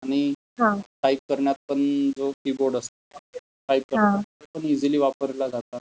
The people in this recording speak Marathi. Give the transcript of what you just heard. आणि टाइप करण्यात पण जो कीबोर्ड असतो, टाइप करण्यात पण इसीली वापरला जातात.